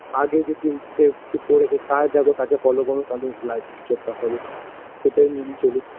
আগে যে কি সে কিছু করেছে তার দেখো তাকে follow করো তাতেই life -এ কিছু একটা হবে সেটাই মেনে চলি